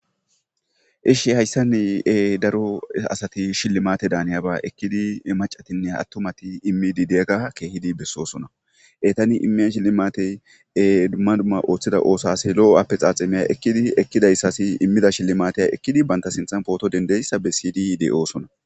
Eshi hayssan daro asati shillimaate daaniyaba ekidi maccatinne attumati immidi diyaga keehidi besoosona. Ettani immiya shillimaate dumma dumma oothida oosuwasi loo afexaxeme ekidi ekkidaysasi immida shilimaatiya ekkidi banta sinththan pooto dendiyayssa besidi de7oosona.